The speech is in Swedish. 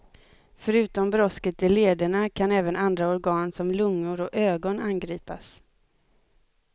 Förutom brosket i lederna kan även andra organ som lungor och ögon angripas.